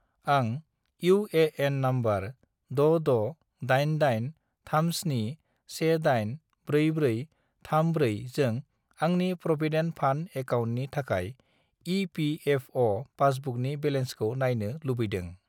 आं UAN. Number 668837184434 जों आंनि प्रविदेन्ट फान्द एकाउन्टनि थाखाय इ.पि.एफ.अ'. पासबुकनि बेलेन्सखौ नायनो लुबैदों।